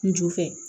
N ju fɛ